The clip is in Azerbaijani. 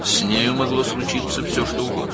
Onun başına hər şey gələ bilərdi.